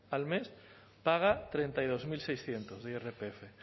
al mes paga treinta y dos mil seiscientos de irpf